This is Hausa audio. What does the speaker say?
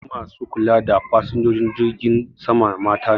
Yawancin ma su kula da fasinjojin jirgin sama mata ne